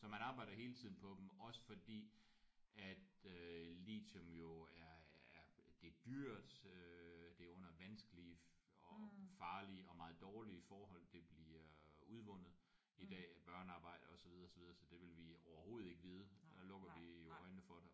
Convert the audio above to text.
Så man arbejder hele tiden på dem. Også fordi at øh litium jo er er det er dyrt øh det er under vanskelige og og farlige og meget dårlige forhold det bliver udvundet i dag af børnearbejdere og så videre så videre. Så det vil vi overhovedet ikke vide øh lukker vi jo øjnene for det